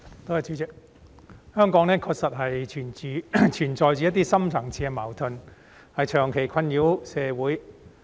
代理主席，香港確實存在着一些深層次的矛盾，長期困擾社會。